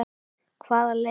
Hvaða lið?